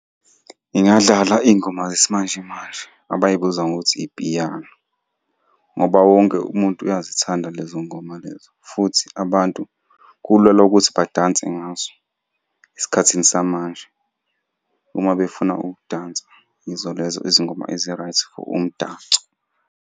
Ngingadlala iy'ngoma zesimanjemanje abay'biza ngokuthi ipiyano, ngoba wonke umuntu uyazithanda lezo ngoma lezo, futhi abantu kulula ukuthi badanse ngazo esikhathini samanje uma befuna ukudansa yizo lezo izingoma ezi-right for umdanso.